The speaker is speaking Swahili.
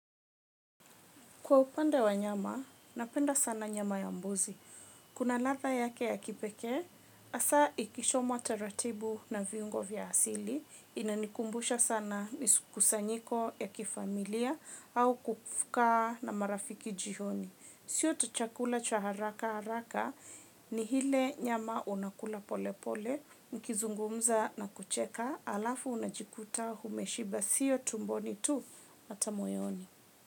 Kwa upande wa nyama, napenda sana nyama ya mbuzi. Kuna ladha yake ya kipekee, hasa ikichomwa taratibu na viungo vya asili, inanikumbusha sana mikusanyiko ya kifamilia au kufuka na marafiki jioni. Sio tu chakula cha haraka haraka, ni hile nyama unakula pole pole, mkizungumza na kucheka, alafu unajikuta umeshiba sio tumboni tu hata moyoni.